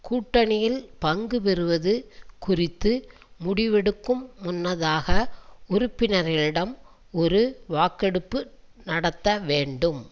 கூட்டணியில் பங்கு பெறுவது குறித்து முடிவெடுக்கும் முன்னதாக உறுப்பினர்களிடம் ஒரு வாக்கெடுப்பு நடத்த வேண்டும்